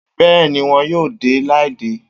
Bẹ́ẹ̀ni, won yóò de ládé